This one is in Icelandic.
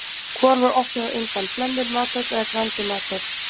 Hvor var opnuð á undan, Hlemmur mathöll eða Grandi mathöll?